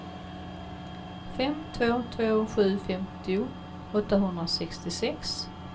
fem två två sju femtio åttahundrasextiosex